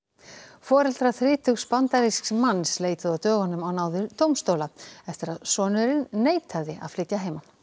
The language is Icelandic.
foreldrar þrítugs bandarísks manns leituðu á dögunum á náðir dómstóla eftir að sonurinn neitaði að flytja að heiman